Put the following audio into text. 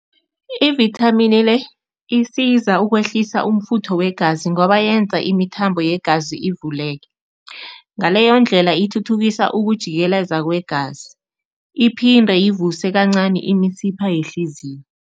Ivithamini le, isiza ukwehlisa umfutho wegazi ngoba yenza imithambo yegazi ivuleke, ngaleyo ndlela ithuthukisa ukujikeleza kwegazi. Iphinde ivuse kancani imisipha yehliziyo.